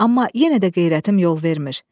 Amma yenə də qeyrətim yol vermir.